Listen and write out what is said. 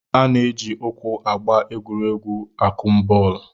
A na-eji ụkwụ agba egwuregwu akụmbọọlụ